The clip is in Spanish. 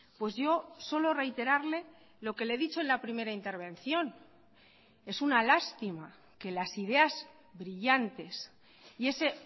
pues yo solo reiterarle lo que le he dicho en la primera intervención es una lástima que las ideas brillantes y ese